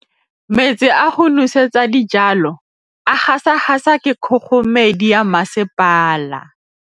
Metsi a go nosetsa dijalo a gasa gasa ke kgogomedi ya masepala.